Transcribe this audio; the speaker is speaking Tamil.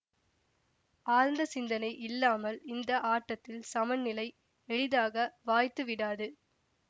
ஆழ்ந்த சிந்தனை இல்லாமல் இந்த ஆட்டத்தில் சமநிலை எளிதாக வாய்த்துவிடாது